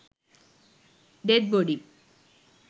death body